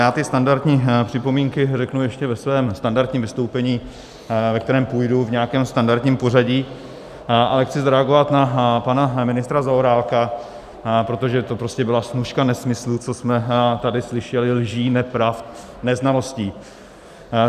Já ty standardní připomínky řeknu ještě ve svém standardním vystoupení, ve kterém půjdu v nějakém standardním pořadí, ale chci zareagovat na pana ministra Zaorálka, protože to prostě byla snůška nesmyslů, co jsme tady slyšeli, lží, nepravda, neznalostí.